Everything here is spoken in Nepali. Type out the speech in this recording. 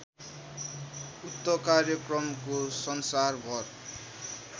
उक्त कार्यक्रमको संसारभर